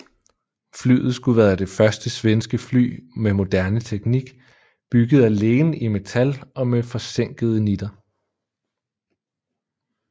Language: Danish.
Flyet skulle være det første svenske fly med moderne teknik bygget alene i metal og med forsænkede nitter